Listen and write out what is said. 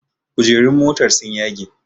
Kujerun motar sun yage